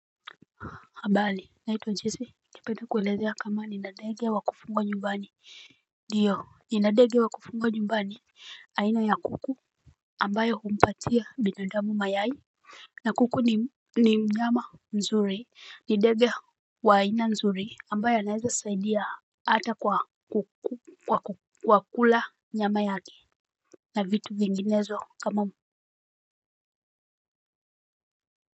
Habari ninaitwa jesse. Ningependa kukueleza kama nina ndege wa kufugwa nyumbani. Ndio nina ndege wa kufugwa nyumbani aina ya kuku ambayo humpatia binadamu mayai. Na kuku ni mnyama mzuri, ni ndege wa aina nzuri ambaye anaweza saidia hata kwa kula nyama yake. Na vitu vinginezo kama.